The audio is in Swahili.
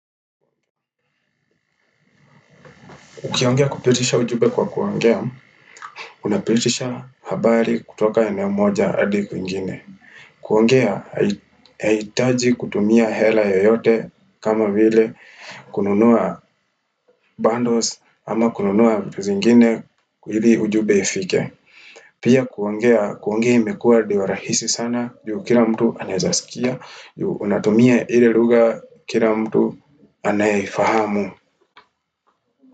Ukiongea kupitisha ujube kwa kuongea, unapitisha habari kutoka eneo moja hadi kuingine. Kuongea, hai haitaji kutumia hela yeyote kama vile, kununua bundles ama kununua vitu zingine hili ujube ifike. Pia kuongea, kuongea imekuwa diwa rahisi sana, juu kila mtu anaezasikia, juu unatumia ili lugha kila mtu anayeifahamu.